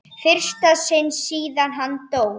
fyrsta sinn síðan hann dó.